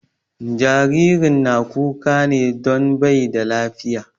Jaririn na kuka ne don bai da lafiya